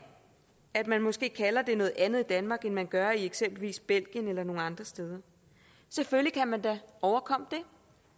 at man måske kalder det noget andet i danmark end man gør i eksempelvis belgien eller nogle eller andre steder selvfølgelig kan man da overkomme det